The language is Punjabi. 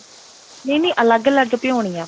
ਨਹੀਂ ਨਹੀਂ ਅਲੱਗ ਭਿਉਣੀ ਆਂ ਆਪਾਂ